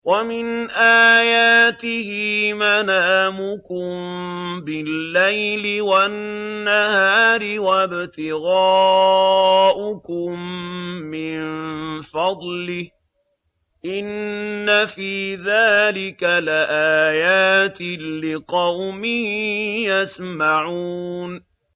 وَمِنْ آيَاتِهِ مَنَامُكُم بِاللَّيْلِ وَالنَّهَارِ وَابْتِغَاؤُكُم مِّن فَضْلِهِ ۚ إِنَّ فِي ذَٰلِكَ لَآيَاتٍ لِّقَوْمٍ يَسْمَعُونَ